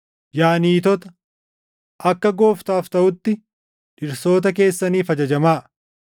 Yaa niitota, akka Gooftaaf taʼutti dhirsoota keessaniif ajajamaa.